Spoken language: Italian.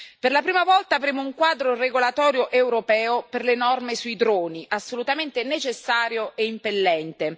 Per la prima volta avremo un quadro regolatorio europeo per le norme sui droni, assolutamente necessario e impellente.